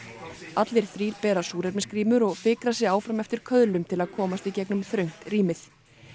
allir þrír bera súrefnisgrímur og fikra sig áfram eftir til að komast í gegnum þröngt rýmið